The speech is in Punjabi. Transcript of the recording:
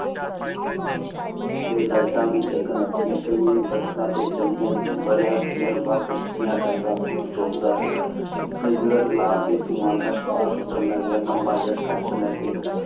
ਤੇ ਲਾਈਟਾਂ ਵੀ ਜਗਨ ਲੱਗ ਪਈਆਂ। ਰਿਹਾ cigarette ਲਾ ਕੇ ਧੁਆਂ ਕਸ਼ ਬਾਰ ਸਬ ਸੁਟਨ ਲੱਗ ਪਿਆ। ਲੰਭਾ ਜਿਹਾ ਕਸ਼ ਲੈ ਕੇ ਇੱਕ